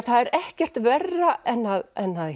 það er ekkert verra en að